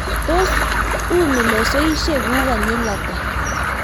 tos iuni lesoisiekuk konyil ata?